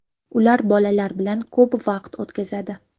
Ular bolalar bilan ko‘p vaqt o‘tkazadi.